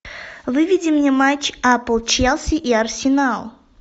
выведи мне матч апл челси и арсенал